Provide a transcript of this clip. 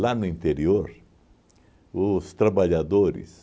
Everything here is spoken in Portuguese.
no interior, os trabalhadores